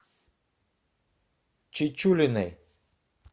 чечулиной